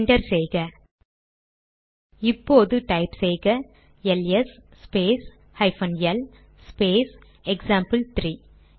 enter செய்க இப்போது type செய்க LS space hyphen L space எக்சாம்பிள்3